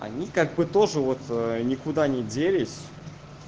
они как бы тоже вот никуда не делись